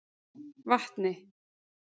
Vatni